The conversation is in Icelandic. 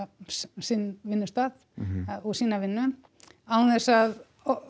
sinn vinnustað og sína vinnu án þess að